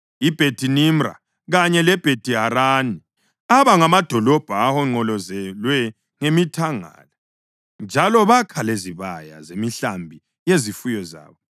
iBhethi-Nimra kanye leBhethi-Harani aba ngamadolobho ahonqolozelwe ngemithangala, njalo bakha lezibaya zemihlambi yezifuyo zabo.